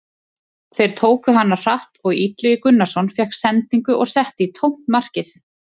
Þeir tóku hana hratt og Illugi Gunnarsson fékk sendingu og setti í tómt markið.